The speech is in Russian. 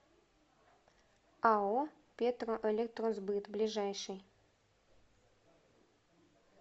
ао петроэлектросбыт ближайший